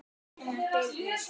Einar Birnir.